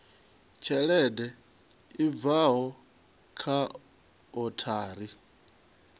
tshelede i bvaho kha othari